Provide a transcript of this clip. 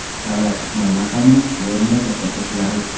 Davlat ijtimoiy maqomini shu o‘rinda ko‘rsatishi zarur.